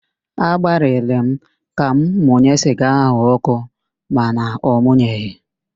Agbalịrị m ka m munye siga ahụ ọkụ mana ọmụnyeghị